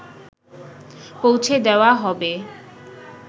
পৌছে দেওয়া হবে